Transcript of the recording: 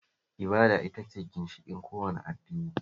Ibada ita ce ginshiƙin kowane addini